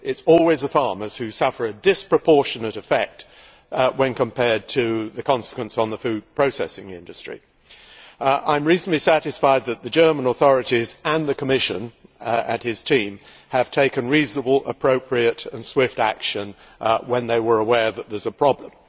It is always the farmers who suffer a disproportionate effect when compared to the consequences for the food processing industry. I am reasonably satisfied that the German authorities, and the Commissioner and his team, took reasonable, appropriate and swift action when they were aware that there was a problem.